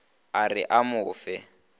a re a mo fe